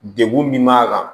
Degun min b'a kan